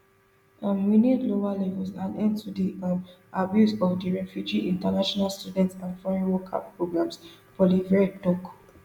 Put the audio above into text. um we need lower levels and end to di um abuse of di refugee international student and foreign worker programs poilievre tok